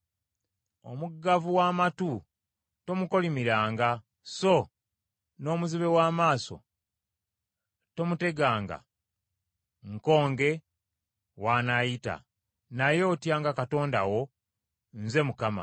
“Omuggavu w’amatu tomukolimiranga, so n’omuzibe w’amaaso tomuteganga nkonge w’anaayita, naye otyanga Katonda wo. Nze Mukama .